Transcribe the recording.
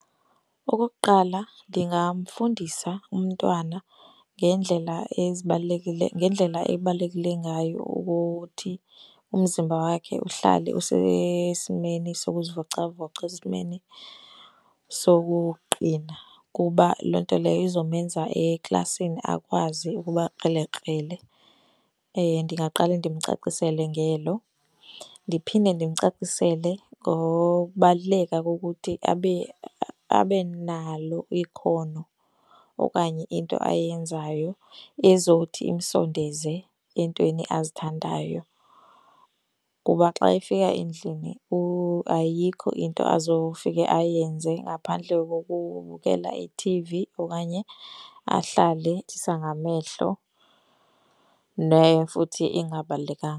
Okokuqala, ndingamfundisa umntwana ngeendlela ezibalulekileyo, ngendlela ebalekile ngayo ukuthi umzimba wakhe uhlale usesimeni sokuzivocavoca, esimeni sokuqina kuba loo nto leyo izomenza eklasini akwazi ukuba krelekrele. Ndingaqale ndimcacisele ngelo. Ndiphinde ndimcacisele ngokubaluleka kokuthi abe abe nalo ikhono okanye into ayenzayo ezothi imsondenze eentweni azithandayo. Kuba xa efika endlini ayikho azofika ayenze ngaphandle kokubukela ithivi okanye ahlale, ndithetha ngamehlo futhi ingabalulekanga.